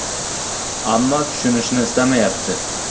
Ammo tushunishni istamayapti.